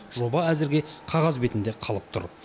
жоба әзірге қағаз бетінде қалып тұр